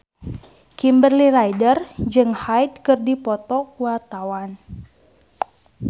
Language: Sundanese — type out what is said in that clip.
Kimberly Ryder jeung Hyde keur dipoto ku wartawan